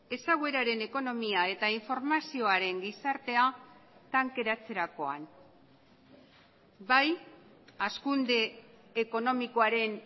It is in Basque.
ezagueraren ekonomia eta informazioaren gizartea tankeratzerakoan bai hazkunde ekonomikoaren